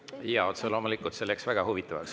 Jaa, otse loomulikult, see läks väga huvitavaks.